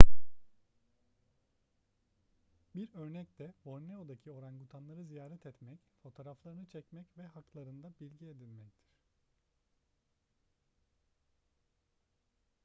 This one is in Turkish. bir örnek de borneo'daki orangutanları ziyaret etmek fotoğraflarını çekmek ve haklarında bilgi edinmektir